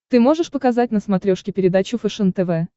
ты можешь показать на смотрешке передачу фэшен тв